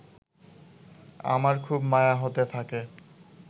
আমার খুব মায়া হতে থাকে